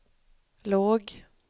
låg